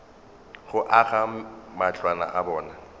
go aga matlwana a bona